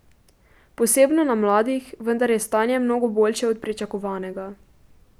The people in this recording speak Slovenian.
Posebno na mladih, vendar je stanje mnogo boljše od pričakovanega.